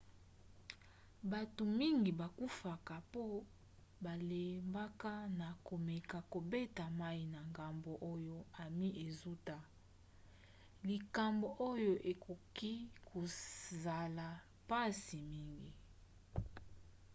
bato mingi bakufaka po balembaka na komeka kobeta mai na ngambo oyo ami ezouta likambo oyo ekoki kozala mpasi mingi